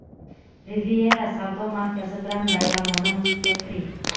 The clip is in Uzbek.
Riviera savdo markazi bilan bayramona muhitga kiring.